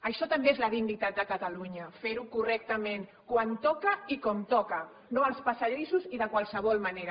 això també és la dignitat de catalunya ferho correctament quan toca i com toca no als passadissos i de qualsevol manera